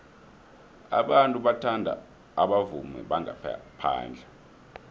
abantu bathanda abavumi bangaphandle